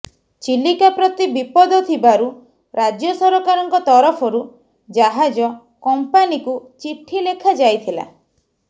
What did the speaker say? ଚିଲିକା ପ୍ରତି ବିପଦ ଥିବାରୁ ରାଜ୍ୟସରକାରଙ୍କ ତରଫରୁ ଜାହାଜ କମ୍ପାନିକୁ ଚିଠିଲେଖାଯାଇଥିଲା